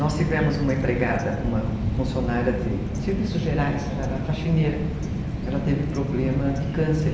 Nós tivemos uma empregada, uma funcionária de serviços gerais, ela era faxineira, ela teve problema de câncer.